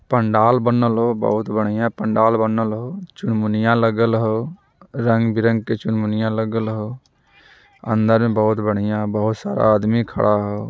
पंडाल बनल हो बहुत बढ़ियाँ पंडाल बनलो हो चुन-मुनीया लगल हो रंग - बिरंग के चुन-मुनीया लगल हो | अंदर में बहुत बढ़ियाँ बहुत सारा आदमी खड़ा हो।